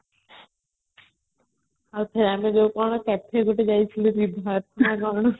ଆଉ ଥରେ କ'ଣ ଆମେ ଯୋଉ ଗୋଟେ cafe ଯାଇଥିଲୁ ବିବାହ ନା କ'ଣ